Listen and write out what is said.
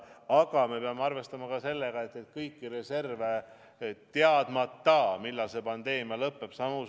Aga me peame arvestama ka sellega, et kõiki reserve, teadmata, millal see pandeemia lõpeb.